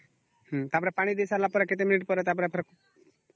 ଟା ପରେ ପାଣି ଦେଇ ସରିଲା ପରେ କେତେ ମିନିଟ ପରେ ଟା ପରେ ଫେର